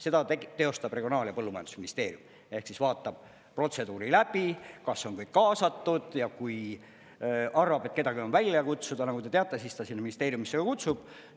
Seda teostab Regionaal‑ ja Põllumajandusministeerium ehk siis vaatab protseduuri läbi, kas on kõik kaasatud, ja kui arvab, et kedagi on välja kutsuda, nagu te teate, siis ta sinna ministeeriumisse kutsub.